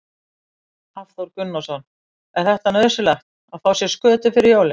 Hafþór Gunnarsson: Er þetta nauðsynlegt að fá sér skötu fyrir jólin?